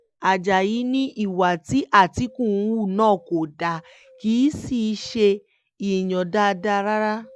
ajáyí ni ìwà tí àtìkù hù náà kò dáa kì í sì ṣe èèyàn dáadáa rárá